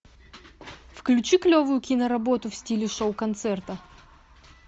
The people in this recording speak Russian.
включи клевую киноработу в стиле шоу концерта